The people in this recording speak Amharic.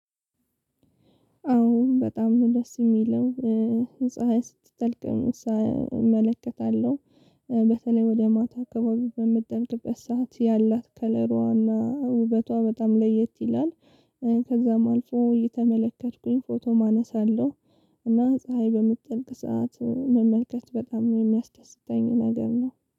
አዎ በጣም ነው ደስ የሚለው ፀሀይ ስትጠልቅም እመለከታለሁ በተለይ ወደ ማታ አከባቢ በምትጠልቅበት ሰዓት ያላት ከለሯና ውበቷ በጣም ለየት ይላል። ከዛም አልፎ እየተመለከትኩኝ ፎቶም አነሳለሁ። እና ፀሀይ በምትጠልቅ ሰዓት መመልከት በጣም ነው የሚያስደስተኝ ነገር ነው